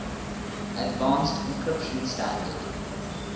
advanced encryption standard